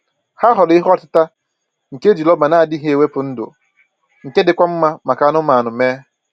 Ha họọrọ ihe ọtịta nke e ji rọba na-adịghị ewepụ ndụ, nke dịkwa mma maka anụmanụ mee